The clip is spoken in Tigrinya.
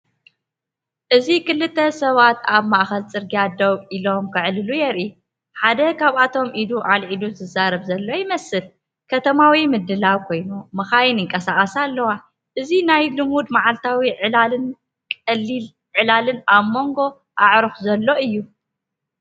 እዚ ክልተ ሰባት ኣብ ማእከል ጽርግያ ደው ኢሎም ክዕልሉ የርኢ። ሓደ ካብኣቶም ኢዱ ኣልዒሉ ዝዛረብ ዘሎ ይመስል። ከተማዊ ምድላው ኮይኑ መካይንን ይንቀሳቐሳ ኣላዋ። እዚ ናይ ልሙድ መዓልታዊ ዕላልን ቀሊል ዕላልን ኣብ መንጎ ኣዕሩኽ ዘሎ እዩ።